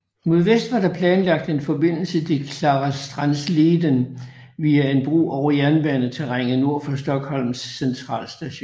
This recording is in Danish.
Mod vest var der planlagt en forbindelse til Klarastrandsleden via en bro over jernbaneterrænet nord for Stockholms centralstation